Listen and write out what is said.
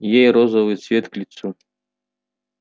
ей розовый цвет к лицу